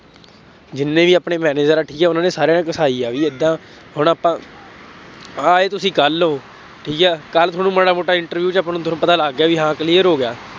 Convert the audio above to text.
ਜਿੰਨੇ ਵੀ ਆਪਣੇ manager ਹੈ, ਠੀਕ ਹੈ, ਉਹਨਾ ਨੇ ਸਾਰਿਆਂ ਨੇ ਘਿਸਾਈ ਆ ਬਈ ਏਦਾਂ ਹੁਣ ਆਪਾਂ ਆਏ ਤੁਸੀਂ ਕੱਲ੍ਹ ਹੋ, ਠੀਕ ਹੈ, ਕੱਲ੍ਹ ਤੁਹਾਨੂੰ ਮਾੜਾ ਮੋਟਾ interview ਚ ਆਪਾਂ ਨੂੰ ਤੁਹਾਨੂੰ ਪਤਾ ਲੱਗ ਗਿਆ ਬਈ ਹਾਂ clear ਹੋ ਗਿਆ।